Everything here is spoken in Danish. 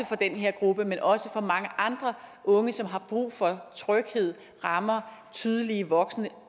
for den her gruppe men også for mange andre unge som har brug for tryghed rammer tydelige voksne